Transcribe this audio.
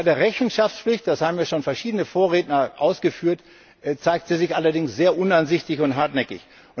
Bei der Rechenschaftspflicht das haben bereits verschiedene Vorredner ausgeführt zeigt sie sich allerdings sehr uneinsichtig und hartnäckig.